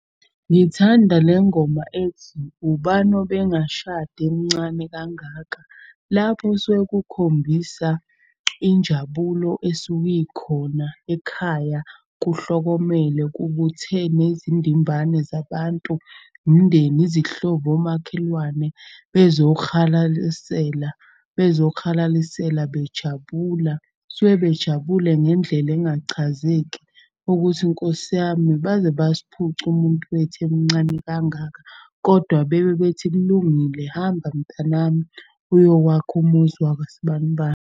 Ngithanda lengoma ethi, ubani obengashada emncane kangaka. Lapho kusuke kukhombisa injabulo esuke ikhona ekhaya, kuhlokomele. Kubuthe nezindimbane zabantu, umndeni, izihlobo, omakhelwane bezokuhalalisela bejabula. Kusuke bejabule ngendlela engachazeki ukuthi, Nkosi yami baze besiphuca umuntu wethu emncane kangaka. Kodwa bebe bethi kulungile hamba mntanami uyokwakha umuzi wakwasbanibani.